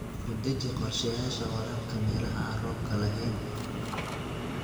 U deji qorshayaasha waraabka meelaha aan roobka lahayn.